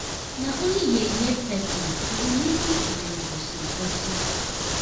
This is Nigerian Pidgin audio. Na only yeye person go dey lis ten to dem gossip. gossip.